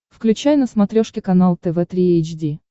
включай на смотрешке канал тв три эйч ди